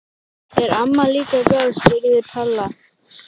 Er amma líka góð? spurði Palla.